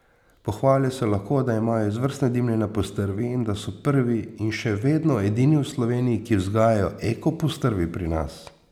Pohvalijo se lahko, da imajo izvrstne dimljene postrvi in da so prvi in še vedno edini v Sloveniji, ki vzgajajo eko postrvi pri nas.